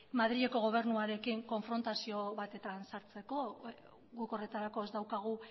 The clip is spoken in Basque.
madrileko gobernuarekin konfrontazio batean sartzeko guk horretarako ez daukagu